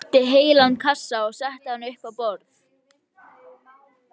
Ég sótti heilan kassa og setti hann upp á borð.